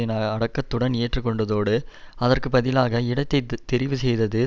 என அடக்கத்துடன் ஏற்று கொண்டதோடு அதற்கு பதிலாக இடத்தை தெரிவுசெய்தது